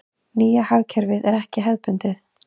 Nýja hagkerfið er ekki hefðbundið.